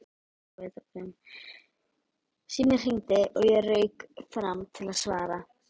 Síminn hringdi og ég rauk fram til að svara.